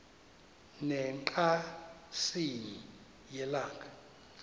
ne ngqatsini yelanga